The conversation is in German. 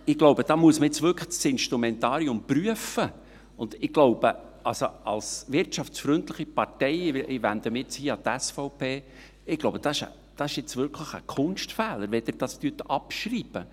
Ich glaube, da muss man jetzt wirklich das Instrumentarium prüfen, und ich glaube, als wirtschaftsfreundliche Partei – ich wende mich nun hier an die SVP – ist es jetzt wirklich ein Kunstfehler, wenn Sie dies abschreiben.